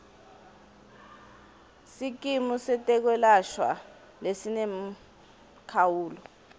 sikimu setekwelashwa lesinemkhawulo